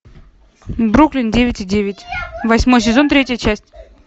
бруклин девять и девять восьмой сезон третья часть